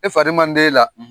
E fari man d'e la